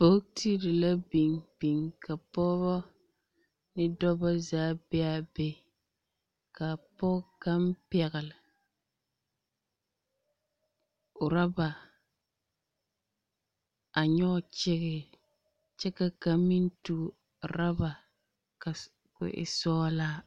Bogtiri la biŋ biŋ ka bɔɔbɔ, ne dɔbɔ zaa be a be, kaa pɔge kaŋ pɛgle, orɔba, a nyɔge kyege, kyɛ ka kaŋ meŋ tuo orɔba ko e sɔglaa.